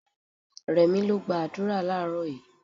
Rẹ̀mí lọ gba àdúrà láàrọ́ yìí.